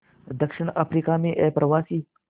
दक्षिण अफ्रीका में अप्रवासी